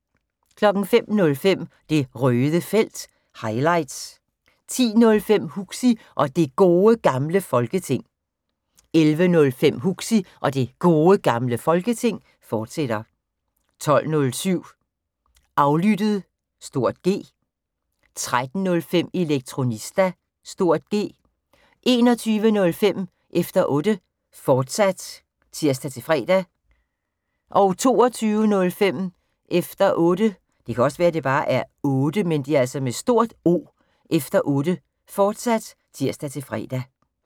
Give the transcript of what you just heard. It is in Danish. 05:05: Det Røde Felt – highlights 10:05: Huxi og Det Gode Gamle Folketing 11:05: Huxi og Det Gode Gamle Folketing, fortsat 12:07: Aflyttet (G) 13:05: Elektronista (G) 21:05: Efter Otte, fortsat (tir-fre) 22:05: Efter Otte, fortsat (tir-fre)